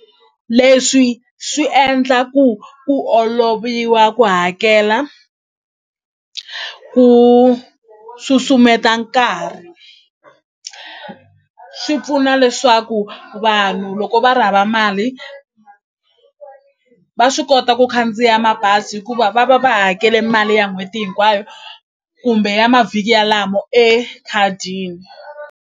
Leswi swi endla ku ku oloviwa ku hakela ku susumeta nkarhi swi pfuna leswaku vanhu loko va ri hava mali va swi kota ku khandziya mabazi hikuva va va va hakele mali ya n'hweti hinkwayo kumbe ya mavhiki yalamo ekhadini.